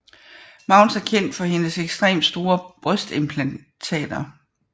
Mounds er kendt for hendes ekstremt store brystimplantater